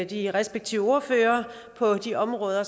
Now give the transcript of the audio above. de respektive ordførere på de områder